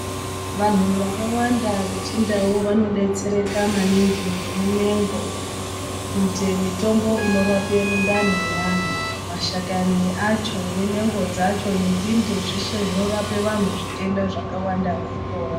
Vanhu vakawanda vechindau vanodetsereka maningi ngemumengo kuite mitombo inorape mundani mwevantu. Mashakani acho nemengo dzacho nenzinde zveshe zvinorape vantu zvitenda zvakawanda veipora.